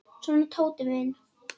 Svona, Tóti minn.